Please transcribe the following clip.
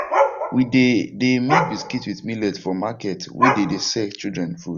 we de de make biscuits with millet for markets wey dem de sell children food